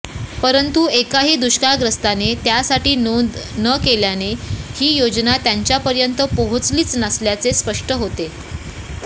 परंतु एकाही दुष्काळग्रस्ताने त्यासाठी नोंद न केल्याने ही योजना त्यांच्यापर्यंत पोहोचलीच नसल्याचे स्पष्ट होते